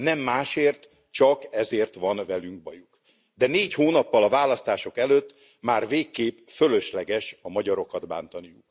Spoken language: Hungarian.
Nem másért, csak ezért van velünk bajuk, de négy hónappal a választások előtt már végképp fölösleges a magyarokat bántani.